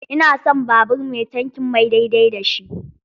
Ina son babur mai tankin mai daidai da shi.